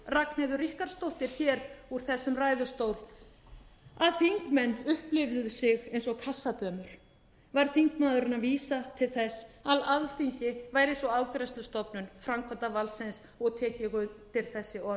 ragnheiður ríkharðsdóttir hér úr þessum ræðustól að þingmenn upplifðu sig eins og kassadömur var þingmaðurinn að vísa til þess að alþingi væri eins og afgreiðslustofnun framkvæmdarvaldsins og tek ég undir þessi